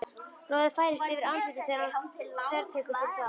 Roði færist yfir andlitið þegar hann þvertekur fyrir það.